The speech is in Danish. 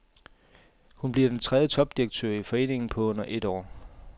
Hun bliver den tredje topdirektør i foreningen på under et år.